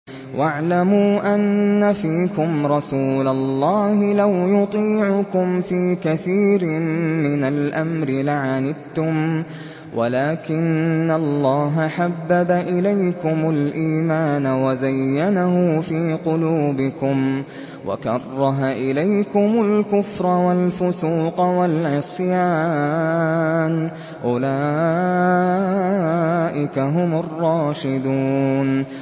وَاعْلَمُوا أَنَّ فِيكُمْ رَسُولَ اللَّهِ ۚ لَوْ يُطِيعُكُمْ فِي كَثِيرٍ مِّنَ الْأَمْرِ لَعَنِتُّمْ وَلَٰكِنَّ اللَّهَ حَبَّبَ إِلَيْكُمُ الْإِيمَانَ وَزَيَّنَهُ فِي قُلُوبِكُمْ وَكَرَّهَ إِلَيْكُمُ الْكُفْرَ وَالْفُسُوقَ وَالْعِصْيَانَ ۚ أُولَٰئِكَ هُمُ الرَّاشِدُونَ